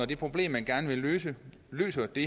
det problem man gerne vil løse løser det